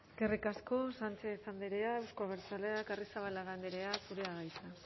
eskerrik asko sánchez andrea euzko abertzaleak arrizabalaga andrea zurea da hitza